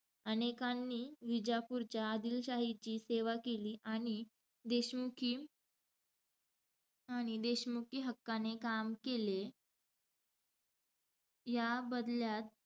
अनेकांनी विजापूरच्या आदिलशाहीची सेवा केली. आणि देशमुखी, आणि देशमुखी हक्काने काम केले. याबदल्यात,